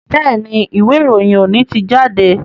Béèni Ìwé-ìròyìn òní tí jáde.